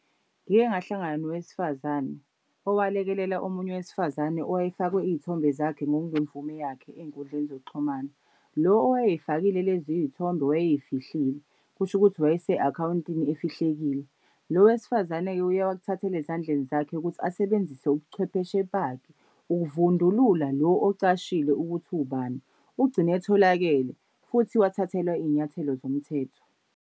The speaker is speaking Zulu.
Ngike ngahlangana nowesifazane owalekelela omunye wesifazane owayifakwe iy'thombe zakhe ngokungemvume yakhe ey'nkundleni zokuxhumana. Lo owayey'fakile lezi iy'thombe wayey'fihlile. Kusho ukuthi wayese akhawuntini efihlekile. Lo wesifazane-ke uye wakuthathela ezandleni zakhe ukuthi asebenzise ubuchwepheshe bakhe ukuvundulula lo ocashile ukuthi uwubani. Ugcine etholakele, futhi wathathelwa iy'nyathelo zomthetho.